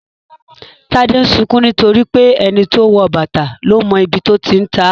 Tade ń sunkún nítorí pé "ẹni tó wọ bàtà ló mọ ibi tó ti ń ta á "